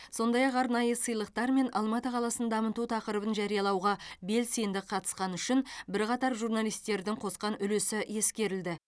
сондай ақ арнайы сыйлықтармен алматы қаласын дамыту тақырыбын жариялауға белсенді қатысқаны үшін бірқатар журналистердің қосқан үлесі ескерілді